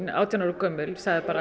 átján ára gömul